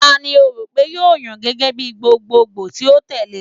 Tani o ro pe yoo yan gẹgẹ bi gbogbogbo ti o tẹle?